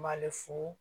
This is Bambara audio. B'ale fu